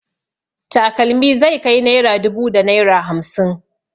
Takalmi zai kai naira dubu da naira hamsin.